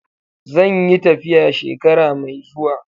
Zan yi tafiya shekara mai zuwa.